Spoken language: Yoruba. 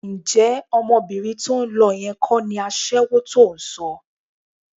Ǹjẹ́ ọmọbìnrin tó ń lọ yẹn kọ́ ni aṣẹ́wó tó ń sọ?